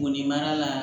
Bo nin mara la